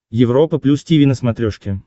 европа плюс тиви на смотрешке